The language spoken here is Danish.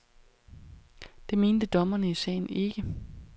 Det mente dommerne i sagen ikke.